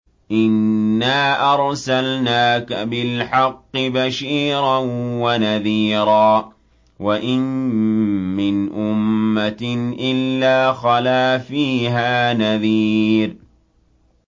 إِنَّا أَرْسَلْنَاكَ بِالْحَقِّ بَشِيرًا وَنَذِيرًا ۚ وَإِن مِّنْ أُمَّةٍ إِلَّا خَلَا فِيهَا نَذِيرٌ